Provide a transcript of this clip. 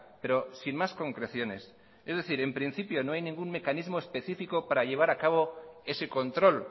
pero sin más concreciones es decir en principio no hay ningún mecanismo específico para llevar a cabo ese control